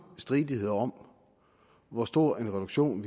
stridigheder om hvor stor en reduktion